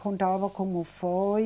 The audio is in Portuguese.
Contava como foi.